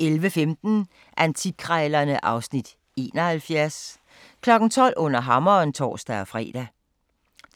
11:15: Antikkrejlerne (Afs. 71) 12:00: Under Hammeren (tor-fre)